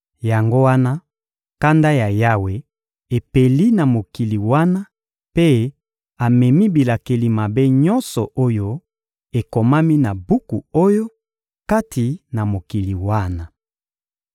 Yango wana, kanda ya Yawe epeli na mokili wana mpe amemi bilakeli mabe nyonso oyo ekomami na buku oyo, kati na mokili wana.